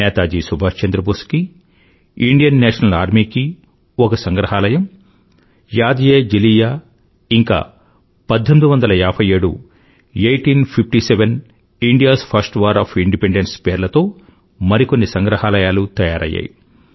నేతాజీ సుభాష్ చంద్ర బోస్ కీ Indian national army కి ఒక సంగ్రహాలయం यादएजलियां ఇంకా1857 ఐఘ్టీన్ ఫిఫ్టీ సెవెన్ indiaస్ ఫర్స్ట్ వార్ ఒఎఫ్ Independenceపేర్లతో మరికొన్ని సంగ్రహాలయాలు తయారయ్యాయి